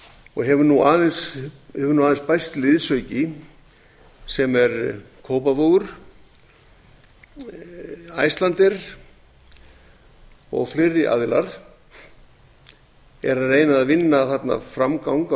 og hefur nú aðeins bæst liðsauki sem er kópavogur icelandair og fleiri aðilar er að reyna að vinna þarna framgang